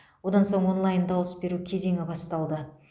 одан соң онлайн дауыс беру кезеңі басталды